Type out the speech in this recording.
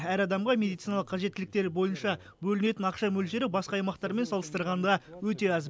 әр адамға медициналық қажеттіліктер бойынша бөлінетін ақша мөлшері басқа аймақтармен салыстырғанда өте аз